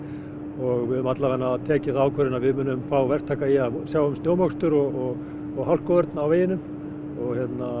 og við höfum tekið þá ákvörðun að við munum fá verktaka í að sjá um snjómokstur og hálkuvörn á veginum og